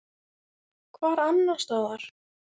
Hvar annars staðar!